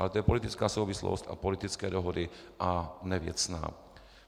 Ale to je politická souvislost a politické dohody, ne věcné.